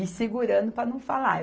E segurando para não falar.